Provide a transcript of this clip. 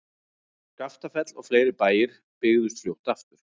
Skaftafell og fleiri bæir byggðust fljótt aftur.